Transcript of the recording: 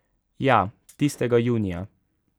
Ja, tistega junija.